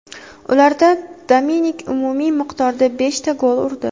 Ularda Dominik umumiy miqdorda beshta gol urdi.